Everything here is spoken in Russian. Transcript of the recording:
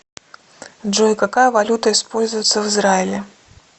джой какая валюта используется в израиле